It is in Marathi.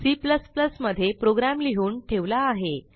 C मध्ये प्रोग्रॅम लिहून ठेवला आहे